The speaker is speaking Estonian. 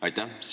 Aitäh!